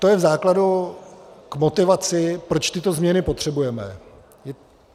To je v základu k motivaci, proč tyto změny potřebujeme.